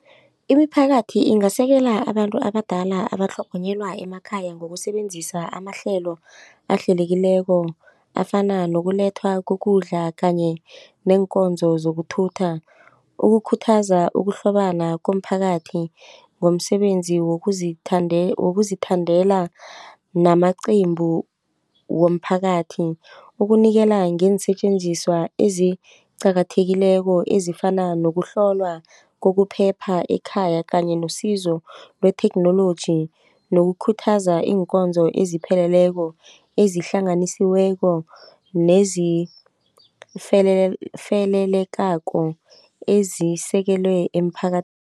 Imiphakathi ingasekela abantu abadala abatlhogonyelwa emakhaya ngokusebenzisa amahlelo ahlelekileko afana nokulethwa kokudla kanye neenkonzo zokuthutha. Ukukhuthaza ukuhlobana komphakathi ngomsebenzi wokuzithandela namaqembu womphakathi ukunikela ngeensetjenziswa eziqakathekileko ezifana nokuhlolwa kokuphepha ekhaya kanye nosizo lwetheknoloji nokukhuthaza iinkonzo ezipheleleko ezihlanganisiweleko nezifelelekako ezisekelwe